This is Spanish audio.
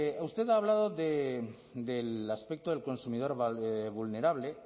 usted ha hablado del aspecto del consumidor vulnerable